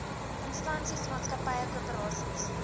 instansies maatskappye koöperasies